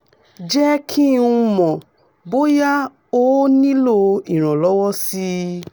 jẹ́ kí n mọ̀ bóyá o nílò ìrànlọ́wọ́ sí i